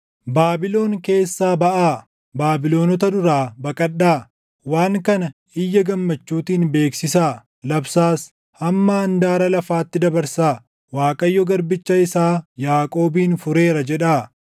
Baabilon keessaa baʼaa; Baabilonota duraa baqadhaa! Waan kana iyya gammachuutiin beeksisaa; labsaas. Hamma handaara lafaatti dabarsaa; “ Waaqayyo garbicha isaa Yaaqoobin fureera” jedhaa.